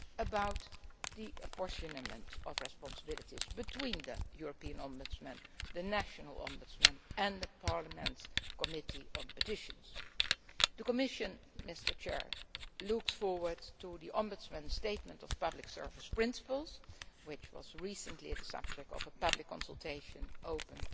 citizens about the apportioning of responsibilities between the European Ombudsman, the national ombudsmen and Parliament's Committee on Petitions. The Commission looks forward to the Ombudsman's statement of public service principles, which was recently the subject of a public consultation